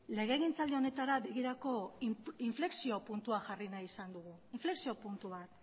legegintzaldi honetara inflexio puntua jarri nahi izan dugu inflexio puntu bat